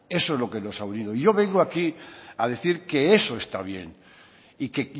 eso es lo que nos ha unido y yo vengo aquí a decir que eso está bien y que